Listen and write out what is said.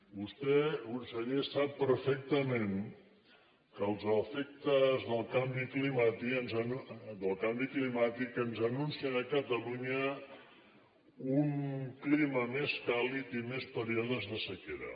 vostè conseller sap perfectament que els efectes del canvi climàtic ens anuncien a catalunya un clima més càlid i més períodes de sequera